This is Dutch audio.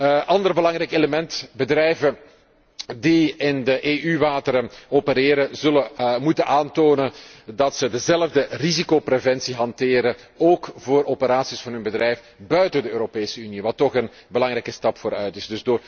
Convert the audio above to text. Een ander belangrijk element bedrijven die in de EU wateren opereren zullen moeten aantonen dat zij dezelfde risicopreventie hanteren, ook voor operaties van hun bedrijf buiten de Europese Unie, wat toch een belangrijke stap vooruit is.